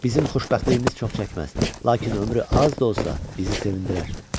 Bizim xoşbəxtliyimiz çox çəkməz, lakin ömrü az da olsa bizi sevindirər.